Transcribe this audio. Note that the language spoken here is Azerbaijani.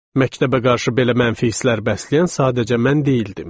Məktəbə qarşı belə mənfi hisslər bəsləyən sadəcə mən deyildim.